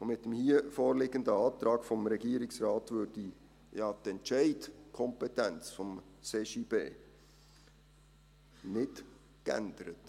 Mit dem hier vorliegenden Antrag des Regierungsrates würde die Entscheidungskompetenz des CJB ja nicht geändert.